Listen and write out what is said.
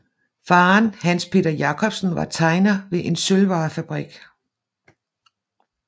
Faderen Hans Peter Jacobsen var tegner ved en sølvvarefabrik